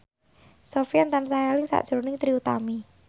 Sofyan tansah eling sakjroning Trie Utami